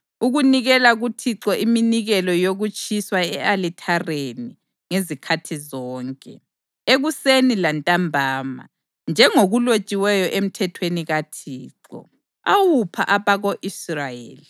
ukunikela kuThixo iminikelo yokutshiswa e-alithareni ngezikhathi zonke, ekuseni lantambama, njengokulotshiweyo eMthethweni kaThixo, awupha abako-Israyeli.